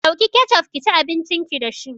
Ɗauki kecof kici abincin ki dashi